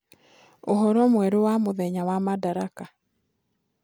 uhoro mwerũ wa mũthenya wa madaraka